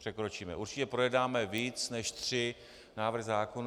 Překročíme, určitě projednáme víc než tři návrhy zákonů.